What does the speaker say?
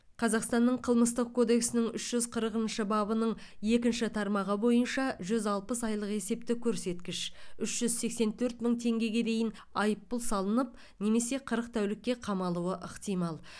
қазақстанның қылмыстық кодексінің үш жүз қырқыншы бабының екінші тармағы бойынша жүз алпыс айлық есептік көрсеткіш үш жүз сексен төрт мың теңгеге дейін айыппұл салынып немесе қырық тәулікке қамалуы ықтимал